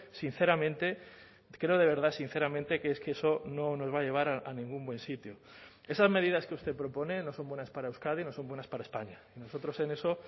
sinceramente creo de verdad sinceramente que es que eso no nos va a llevar a ningún buen sitio esas medidas que usted propone no son buenas para euskadi no son buenas para españa nosotros en eso